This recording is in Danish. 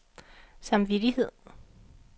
samvittighed